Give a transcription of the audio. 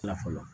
Na fɔlɔ